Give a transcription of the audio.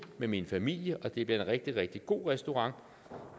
med min familie og det bliver en rigtig rigtig god restaurant